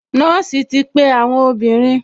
Nọ́ọ̀sì ti pe àwọn obìnrin